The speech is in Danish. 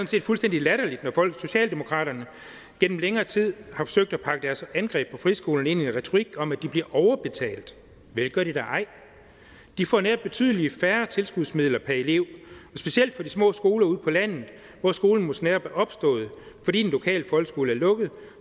set fuldstændig latterligt når socialdemokraterne gennem længere tid har forsøgt at pakke deres angreb på friskolen ind i en retorik om at de bliver overbetalt vel gør de da ej de får netop betydelig færre tilskudsmidler per elev og specielt på de små skoler ude på landet hvor skolen måske netop er opstået fordi den lokale folkeskole er lukket